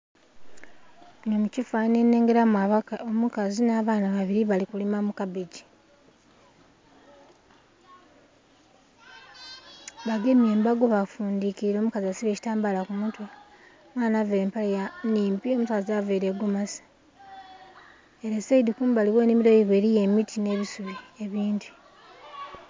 Munho mu kifananhi nnhengeramu omukazi nha baana babiri bali kupima mu kabbegi bagemye embago befundhikilile omukazi asibye ekitambala ku mutwe omwana avaire empale nnhimpi omukazi avaire egomasi era saidhi kumbali ghe nhimiro yaibwe eriyo emiti nhe'isubi ebindhi.